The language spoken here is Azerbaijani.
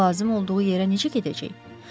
Onda lazım olduğu yerə necə gedəcək?